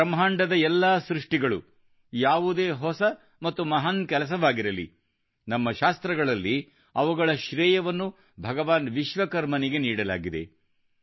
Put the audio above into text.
ಬ್ರಹ್ಮಾಂಡದ ಎಲ್ಲಾ ಸೃಷ್ಟಿಗಳು ಯಾವುದೇ ಹೊಸ ಮತ್ತು ಮಹಾನ್ ಕೆಲಸವಾಗಿರಲಿ ನಮ್ಮ ಶಾಸ್ತ್ರಗಳಲ್ಲಿ ಅವುಗಳ ಶ್ರೇಯವನ್ನು ಭಗವಾನ್ ವಿಶ್ವಕರ್ಮನಿಗೆ ನೀಡಲಾಗಿದೆ